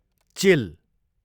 चिल